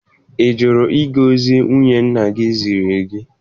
Ị jụrụ ịga ozi nwunye nna gị ziri gị?